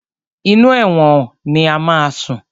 Inú ẹ̀wọ̀n ni o máa sùn.